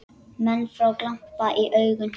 Menn fá glampa í augun.